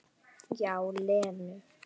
Já, Lenu.